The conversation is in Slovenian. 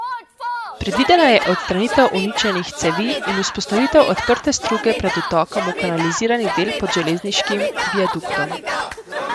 Predvidena je odstranitev uničenih cevi in vzpostavitev odprte struge pred vtokom v kanalizirani del pod železniškim viaduktom.